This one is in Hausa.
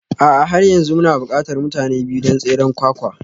A'a har yanzu muna buƙatar mutane biyu don tseren ƙwaƙƙwa